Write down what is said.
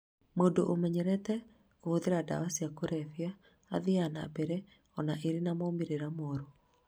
Mũndũ ũmenyerete kũhũthĩra ndawa cia kũrebia athiaga na mbere ona ĩrĩ na moimĩrĩra moru